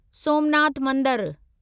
सोमनाथ मंदरु